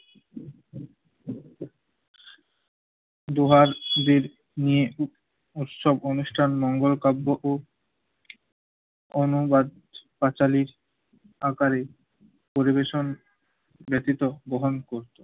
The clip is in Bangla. দোহার দের নিয়ে উব~ উৎসব অনুষ্ঠান মঙ্গল কাব্য ও অনুবাদ পাঁচালীর আকারে পরিবেশন ব্যথিত বহন করত।